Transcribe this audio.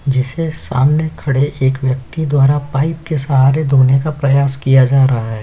जिसे सामने खड़े एक व्यक्ति द्वारा पाइप के सहारे धोने का प्रयास किया जा रहा है।